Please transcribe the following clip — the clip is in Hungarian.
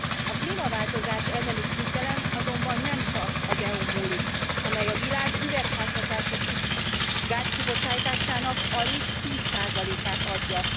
A klímaváltozás elleni küzdelem azonban nem csak az EU n múlik, amely a világ üvegházhatásúgáz kibocsátásának alig 10 százalékát adja.